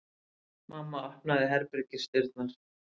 Mamma opnaði herbergisdyrnar.